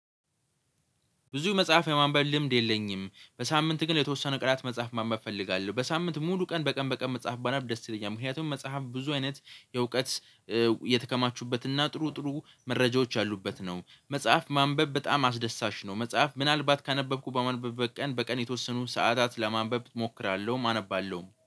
ብዙ መጽሐፍ የማንበብ ልምድ የለኝም በሳምንት ግን የተወሰነ ቀላት መጽሐፍ ማንበብ እፈልጋለሁ በሳምንት ሙሉ ቀን በቀን በቀን መጽሐፍ ባነብ ደስ ይለኛል ምክንያቱም መጽሐፍ ብዙ አይነት የእውቀት የተከማቹበት እና ጥሩ ጥሩ መረጃዎች አሉበት ነው። መጽሐፍ ማንበብ በጣም አስደሳሽ ነው። መጽሐፍ ምናልባት ካነበብኩ በመንበብበት ቀን በቀን የተወሰኑ ሰዓታትን ለማንበብ እሞክራለሁም አነባለሁም